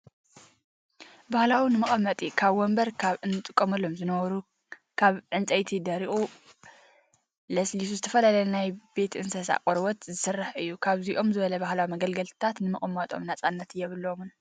ባህላዊ ንመቀመጢ ከም ወንበር ካብ እንጥቀመሎም ዝነበሩ ካብ እንፀይትን ደሪቁ ዝለስለ ዝተፈላለዩ ናይ ቤት እንስሳት ቆርበት ዝስራሕ እዩ። ከምዚኦም ዝበሉ ባህላዊ መገልገልታት ንምቅማጦም ነፃነት የብለሙን።